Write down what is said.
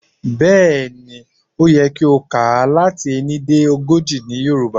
Bẹ̀́ẹ̀ ni, ó yẹ kí o kà á láti ení dé ogójì ní Yorùbá.